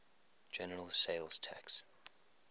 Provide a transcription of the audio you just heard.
general sales tax